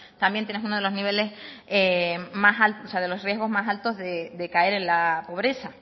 también tienes unos de los riesgos más altos de caer en la pobreza